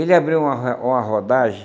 Ele abriu uma ro uma rodagem